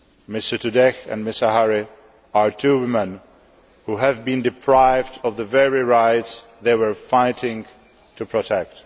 Mrs Sotoudeh and Ms Ahari are two women who have been deprived of the very rights they were fighting to protect.